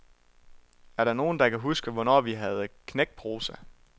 Er der nogen, der kan huske, hvornår vi havde knækprosa?